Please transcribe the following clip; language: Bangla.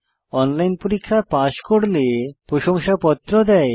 অনলাইন পরীক্ষা পাস করলে প্রশংসাপত্র দেয়